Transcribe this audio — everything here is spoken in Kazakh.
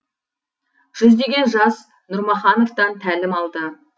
жүздеген жас нұрмахановтан тәлім алды